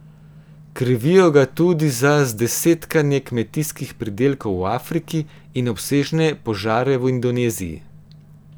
Krivijo ga tudi za zdesetkanje kmetijskih pridelkov v Afriki in obsežne požare v Indoneziji.